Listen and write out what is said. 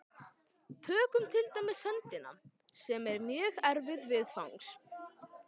Tökum til dæmis höndina, sem er mjög erfið viðfangs.